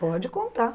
Pode contar.